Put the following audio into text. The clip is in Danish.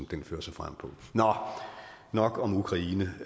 den fører sig frem på nå nok om ukraine